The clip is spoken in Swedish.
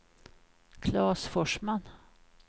Klas Forsman